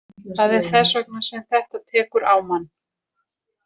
Það er þess vegna sem þetta tekur á mann.